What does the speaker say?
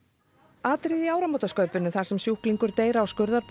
atriði í áramótaskaupinu þar sem sjúklingur deyr á